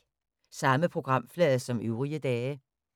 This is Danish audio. Samme programflade som øvrige dage